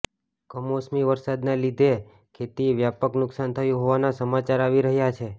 કમોસમી વરસાદના લીધે ખેતીએ વ્યાપક નુકસાન થયું હોવાના સમાચાર આવી રહ્યા છે